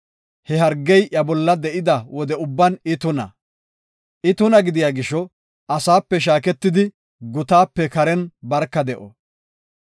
He hargey iya bolla de7ida wode ubban I tuna. I tuna gidiya gisho, asaape shaaketidi, gutaape karen barka de7o.